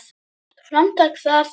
Gott framtak það.